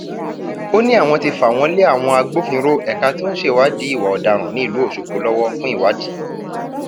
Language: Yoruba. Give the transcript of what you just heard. ó ní àwọn ti fà wọn lé àwọn agbófinró ẹka tó ń ṣèwádìí ìwà ọdaràn nílùú ọṣọgbó lọwọ fún ìwádì